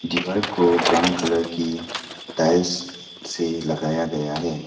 दीवार को brown colour की टाइल्स से लगाया गया है।